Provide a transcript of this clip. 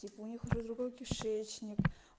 типа у них уже другой кишечник